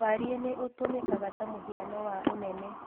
Warie nĩ ũtũmĩkaga ta mũhiano wa ũnene